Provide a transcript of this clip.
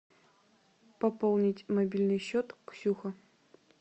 пополнить мобильный счет ксюха